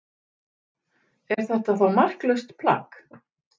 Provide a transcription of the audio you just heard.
Er þetta þá marklaust plagg?